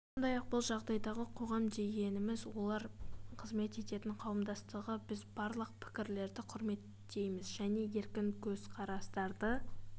сондай-ақ бұл жағдайдағы қоғам дегеніміз олар қызмет ететін қауымдастығы біз барлық пікірлерді құрметтейміз және еркін көзқарастарды